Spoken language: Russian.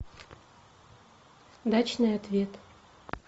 дачный ответ